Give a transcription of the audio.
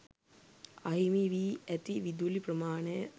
අහිමි වී ඇති විදුලි ප්‍රමාණය